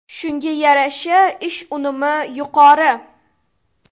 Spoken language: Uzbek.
Shunga yarasha ish unumi yuqori.